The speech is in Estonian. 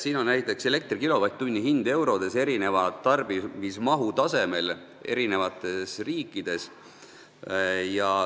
Siin joonisel on elektri kilovatt-tunni hind eurodes erineva tarbimistaseme korral eri riikides.